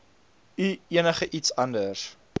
u enigiets anders